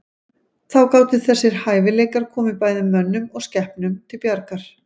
Þá gátu þessir hæfileikar komið bæði mönnum og skepnum til bjargar.